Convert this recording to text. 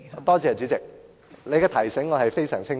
多謝代理主席的提醒，我是非常清楚的。